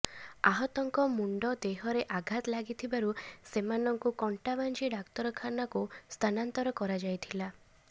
ଆହତଙ୍କ ମୁଣ୍ଡ ଦେହରେ ଆଘାତ ଲାଗିଥିବାରୁ ସେମାନଙ୍କୁ କଣ୍ଟାବାଞ୍ଜି ଡାକ୍ତରଖାନାକୁ ସ୍ଥାନାନ୍ତର କରାଯାଇଥିଲା